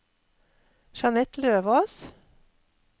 Jeanette Løvås